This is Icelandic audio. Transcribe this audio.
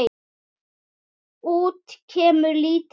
Út kemur lítið lauf.